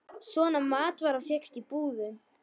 Svona matvara fékkst í búðum.